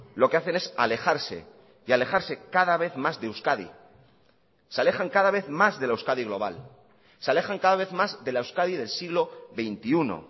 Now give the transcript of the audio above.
lo que hacen es alejarse y alejarse cada vez más de euskadi se alejan cada vez más de la euskadi global se alejan cada vez más de la euskadi del siglo veintiuno